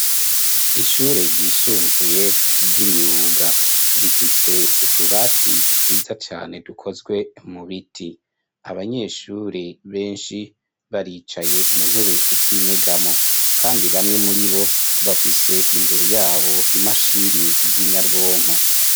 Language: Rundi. Ishure ryisumbuye ry'imyuga rifise utubati twiza cane dukozwe mu biti .Abanyeshuri benshi baricaye mu ntebe z'inyegamo kandi bamwe muri bo bafise imbere yabo imashini z'inyabwonko.